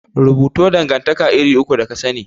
Rubuto dangantaka iri uku da kasani?